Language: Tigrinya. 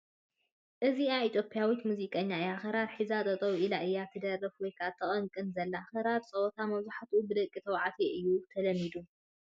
እዚኣ ኢ/ያዊት ሙዚቐኛ እያ ፡ ክራር ሒዛ ጠጠው ኢላ እያ ትደርፍ ወይ ተቐንቕን ዘላ፡ ኽራር ፀወታ መብዛሕትኡ ብደቒ ተባዕትዩ እዩ ተለሚዱ ።